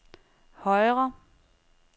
højre